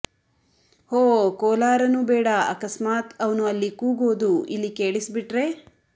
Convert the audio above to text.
ಹೋ ಕೋಲಾರನೂ ಬೇಡ ಅಕಸ್ಮಾತ್ ಅವ್ನು ಅಲ್ಲಿ ಕೂಗೋದು ಇಲ್ಲಿ ಕೇಳಿಸ್ಬಿಟ್ರೆ